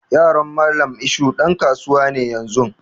Yaron Mallam isuhu ɗan kasuwa ne yanzun.